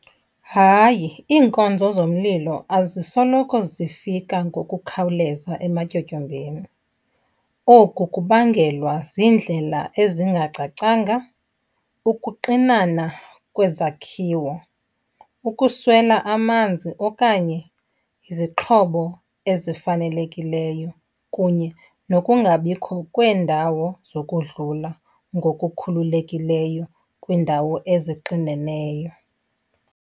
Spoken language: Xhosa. Hayi, iinkonzo zomlilo azisoloko zifika ngokukhawuleza ematyotyombeni. Oku kubangelwa ziindlela ezingacacanga, ukuxinana kwezakhiwo, ukuswela amanzi okanye izixhobo ezifanelekileyo kunye nokungabikho kweendawo zokudlula ngokukhululekileyo kwiindawo ezixineneyo.